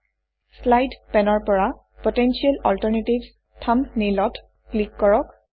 slides slide পেনৰ পৰা potential alternatives থাম্বনেইলত ক্লিক কৰক